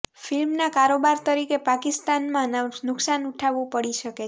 ફિલ્મનના કારોબાર તરીકે પાકિસ્તાનમાં નુકસાન ઉઠાવવું પડી શકે છે